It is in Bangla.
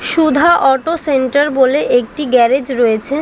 সুধা অটো সেন্টার বলে একটি গ্যারেজ রয়েছে।